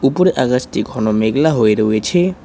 উপরে আকাশটি ঘন মেঘলা হয়ে রয়েছে।